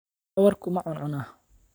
Dhabarkaagu ma cuncuna?